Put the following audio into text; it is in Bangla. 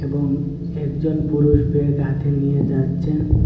এবং একজন পুরুষ ব্যাগ হাতে নিয়ে যাচ্ছেন।